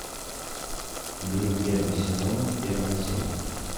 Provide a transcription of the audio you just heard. гримм первый сезон первая серия